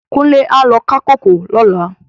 Kunle á lò ká kókòó lòlá